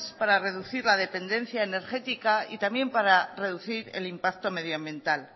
para reducir la dependencia energética y también para reducir el impacto medioambiental